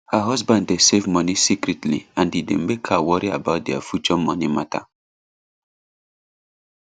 her husband dey save money secretly and e dey mek her worry about their future money matter